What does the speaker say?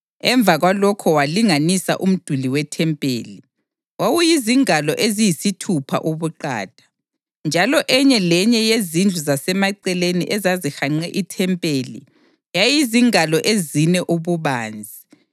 Emva kwalokho walinganisa umduli wethempeli; wawuyizingalo eziyisithupha ubuqatha, njalo enye lenye yezindlu zasemaceleni ezazihanqe ithempeli yayizingalo ezine ububanzi.